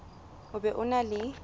o be o na le